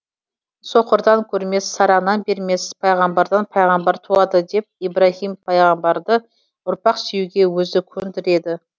соқырдан көрмес сараңнан бермес пайғамбардан пайғамбар туады деп ибраһим пайғамбарды ұрпақ сүюге өзі көндіреді